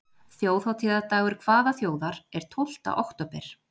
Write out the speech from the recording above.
Þjóðhátíðardagur hvaða þjóðar er tólfta október?